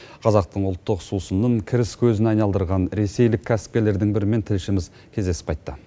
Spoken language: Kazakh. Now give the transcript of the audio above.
қазақтың ұлттық сусынын кіріс көзіне айналдырған ресейлік кәсіпкерлердің бірімен тілшіміз кездесіп қайтты